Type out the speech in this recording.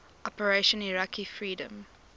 operation iraqi freedom